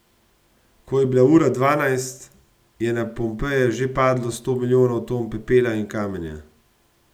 Ko je bila ura dvanajst, je na Pompeje že padlo sto milijonov ton pepela in kamenja.